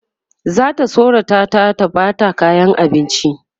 zata tsorata ta ta Bata kayan abinci